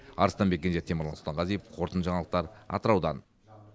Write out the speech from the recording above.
арыстанбек кенже темірлан сұлтанғазиев қорытынды жаңалықтар атыраудан